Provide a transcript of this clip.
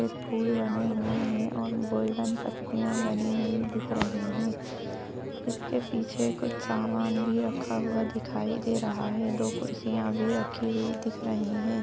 सफ़ेद फूल बने हुए हैं और गोल्डन पत्तियां बनी हुई दिख रही हैं इसके पीछे कुछ समान भी रखा हुआ दिखाई दे रहा है दो कुर्सियां भी रखी हुई दिख रही हैं।